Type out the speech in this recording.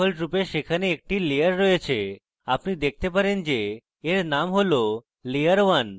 ডিফল্টরূপে সেখানে একটি layer রয়েছে আপনি দেখতে পারেন যে এর named layer 1